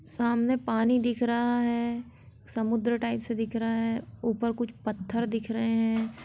सामने पानी दिख रहा है समुद्र टाईप से दिख रहा है ऊपर कुछ पत्थर दिख रहें हैं।